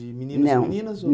De meninos e meninas ou? Não